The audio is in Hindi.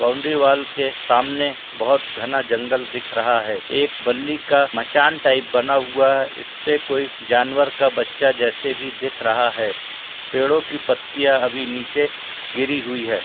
बाउनडरी वाल के सामने बहुत घना जंगल दिख रहा है। एक बल्ली का मचान टाइप बना हुआ है। इस पे कोई जानवर का बच्चा जेसे भी दिख रहा है। पेड़ो की पत्तिया अभी नीचे गिरी हुई है।